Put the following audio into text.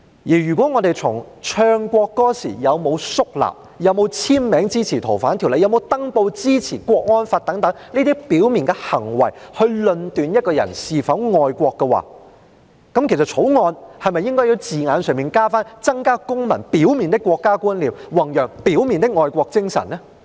如果我們從唱國歌時有沒有肅立、有沒有簽名支持修訂《逃犯條例》、有沒有登報支持國安法等這些表面行為來論斷一個人是否愛國的話，《條例草案》是否需要加入字眼，訂明是要增加公民"表面"的國家觀念，弘揚"表面"的愛國精神呢？